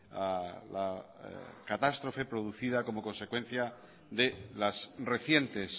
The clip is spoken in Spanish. a la catástrofe producida como consecuencia de las recientes